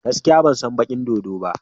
Gaskiya! Ban san bikin dodo ba.